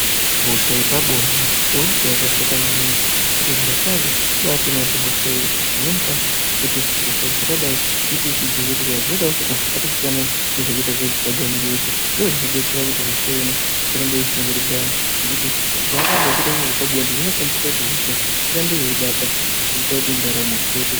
Hosha yepabonde ihosha yakashata maningi. Kuti zvirokwazvo kubaatoona kuti hosha iyi pamweni pacho kuti hosha dzakadai dziite dzichidziirirwa dzinoda kuti anhu atosiyana nekuita zvepabonde ngekuti ndozvinodetsera kuti hosha iyona isaramba yeishungurudza anhu ngekuti panonga pechiitwa zvepabonde zvinokwanisa kuti hosha irambe yeibata zviita kuti ndaramo izoite...